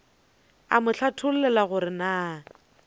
a mo hlathollela gore na